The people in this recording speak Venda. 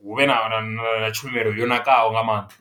hu vhe na na na tshumelo yo ṋakaho nga maanḓa.